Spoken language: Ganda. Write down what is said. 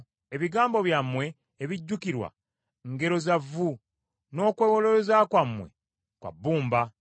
Ebigambo byammwe ebijjukirwa ngero za vvu, n’okwewolereza kwammwe kwa bbumba.